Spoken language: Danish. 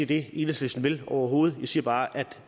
det enhedslisten vil overhovedet jeg siger bare at